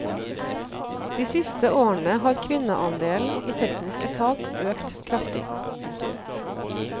De siste årene har kvinneandelen i teknisk etat økt kraftig. punktum